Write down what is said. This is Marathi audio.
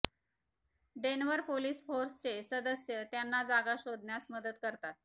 डेन्व्हर पोलिस फोर्सचे सदस्य त्यांना जागा शोधण्यास मदत करतात